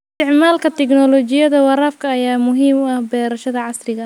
Isticmaalka tignoolajiyada waraabka ayaa muhiim u ah beeraha casriga ah.